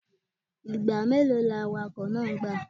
Igba melo ni awakọ naa gba?